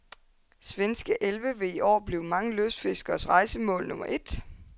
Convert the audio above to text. Svenske elve vil i år blive mange lystfiskeres rejsemål nummer et.